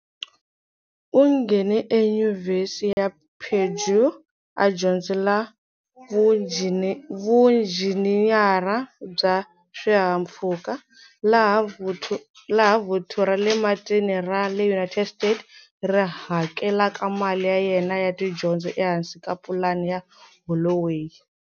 U nghene eYunivhesiti ya Purdue, a dyondzela vunjhiniyara bya swihahampfhuka, laha Vuthu ra le Matini ra le United States ri hakelaka mali ya yena ya tidyondzo ehansi ka Pulani ya Holloway.